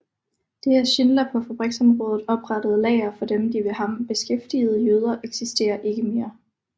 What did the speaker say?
Det af Schindler på fabriksområdet oprettede lager for de ved ham beskæftigede jøder eksisterer ikke mere